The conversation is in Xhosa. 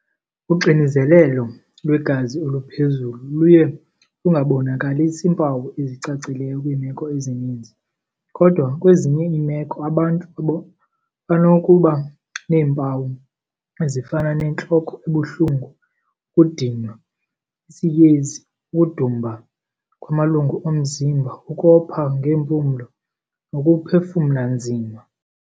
Uxinizelelo lwegazi oluphezulu luye lungabonakalisi mpawu ezicacileyo kwiimeko ezininzi. Kodwa kwezinye iimeko abantu banokuba neempawu ezifana nentloko ebuhlungu, ukudinwa, isiyezi, ukudumba kwamalungu omzimba, ukopha ngeempumlo nokuphefumla nzima.